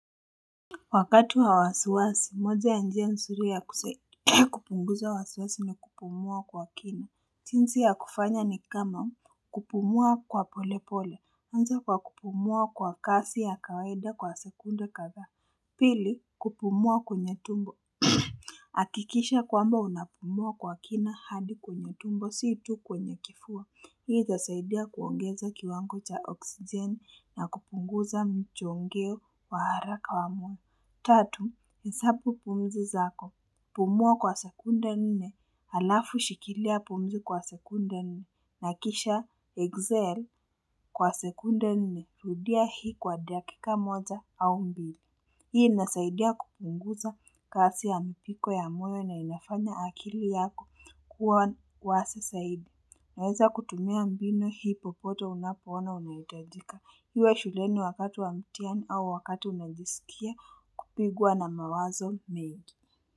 Wakati wa wasiwasi, moja ya njia nzuri ya kupunguza wasiwasi ni kupumua kwa kina. Jinsi ya kufanya ni kama kupumua kwa pole pole, anza kwa kupumua kwa kasi ya kawaida kwa sekunde kadhaa. Pili, kupumua kwenye tumbo. Akikisha kwamba unapumua kwa kina hadi kwenye tumbo, si tu kwenye kifua. Hii itasaidia kuongeza kiwango cha oksijeni na kupunguza mchongeo wa haraka wa mwani. Tatu, hesabu pumzi zako, pumua kwa sekunde nne, alafu shikilia pumzi kwa sekunde nne, nakisha Excel kwa sekunda nne, rudia hii kwa dakika moja au mbili. Hii inasaidia kupunguza kasi ya mpiko ya moyo na inafanya akili yako kuwasa zaidi. Unaeza kutumia mbinu hii popote unapoona inaitajika iwe shuleni wakati wa mtiani au wakatu unajisikia kupugua na mawazo mengi.